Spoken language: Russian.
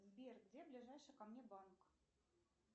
сбер где ближайший ко мне банк